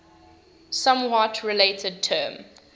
somewhat related term